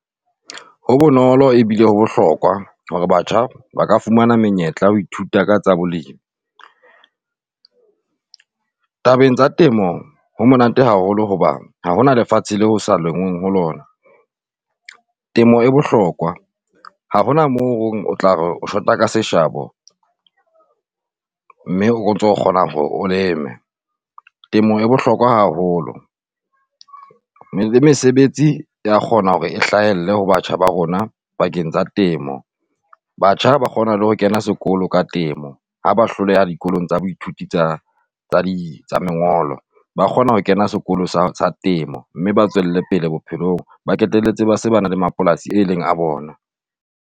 Ho bonolo ebile ho bohlokwa hore batjha ba ka fumana menyetla ho ithuta ka tsa bolemi. Tabeng tsa temo ho monate haholo hoba ha hona lefatshe leo ho sa lengweng ho lona. Temo e bohlokwa ha hona moo o tla re o shota ka seshabo mme o ntso kgona hore o leme. Temo e bohlokwa haholo le mesebetsi ea kgona hore e hlahelle ho batjha ba rona pakeng tsa temo. Batjha ba kgona le ho kena sekolo ka temo ha ba hloleha dikolong tsa baithuti tsa di tsa lengolo, ba kgona ho kena sekolo sa temo, mme ba tswelle pele bophelong, ba qetelletse ba se ba na le mapolasi e leng a bona.